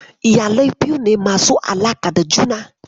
Iyalai biyu ne masu alaƙa da juna.